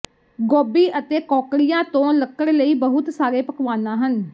ਗੋਭੀ ਅਤੇ ਕੌਕੜਿਆਂ ਤੋਂ ਲੱਕੜ ਲਈ ਬਹੁਤ ਸਾਰੇ ਪਕਵਾਨਾ ਹਨ